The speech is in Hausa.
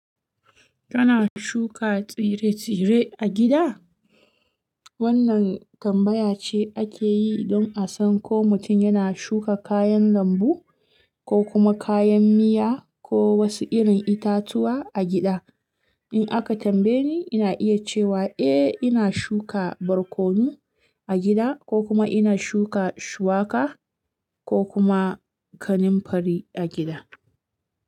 Kana shuka tsire-tsire a gida? Wannan tambaya ce ake yi don a san ko mutum yana shuka kayan lambu, ko kuma kayan miya ko wasu irin itatuwa a gida. In aka tambaye ni, ina iya cewa eh ina shuka barkono a gida, ko kuma ina shuka shuwaka ko kuma kaninfari a gida.